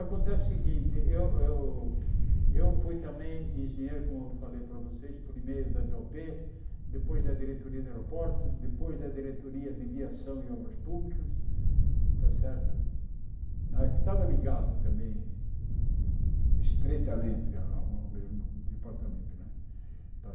Acontece o seguinte, eu eu eu fui também engenheiro, como falei para vocês, primeiro da dê ó pê, depois da diretoria de aeroportos, depois da diretoria de viação e obras públicas, está certo não é que estava ligada também estreitamente ao ao mesmo departamento não é.